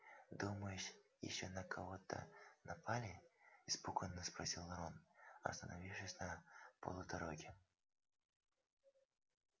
думаешь ещё на кого-то напали испуганно спросил рон остановившись на полдороге